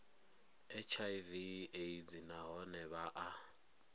hiv aids nahone vha a